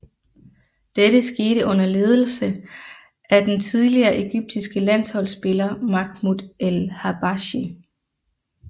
Dette skete under ledelse af den tidligere egyptiske landsholdsspiller Mahmoud El Habashy